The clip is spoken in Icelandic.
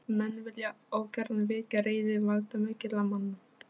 Menn vilja ógjarnan vekja reiði valdamikilla manna.